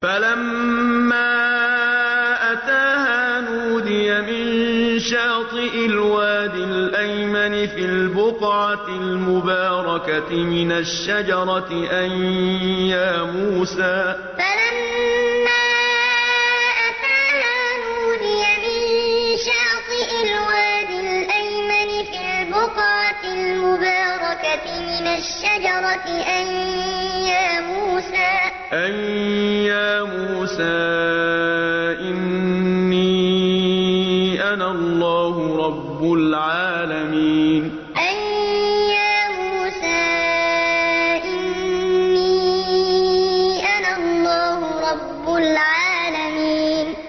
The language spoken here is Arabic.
فَلَمَّا أَتَاهَا نُودِيَ مِن شَاطِئِ الْوَادِ الْأَيْمَنِ فِي الْبُقْعَةِ الْمُبَارَكَةِ مِنَ الشَّجَرَةِ أَن يَا مُوسَىٰ إِنِّي أَنَا اللَّهُ رَبُّ الْعَالَمِينَ فَلَمَّا أَتَاهَا نُودِيَ مِن شَاطِئِ الْوَادِ الْأَيْمَنِ فِي الْبُقْعَةِ الْمُبَارَكَةِ مِنَ الشَّجَرَةِ أَن يَا مُوسَىٰ إِنِّي أَنَا اللَّهُ رَبُّ الْعَالَمِينَ